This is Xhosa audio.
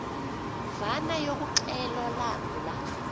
mvana yokuxhelwa lamla